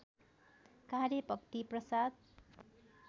कार्य भक्ति प्रसाद